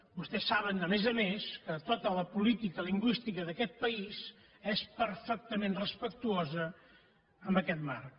vostès saben a més a més que tota la política lingüística d’aquest país és perfectament respectuosa amb aquest marc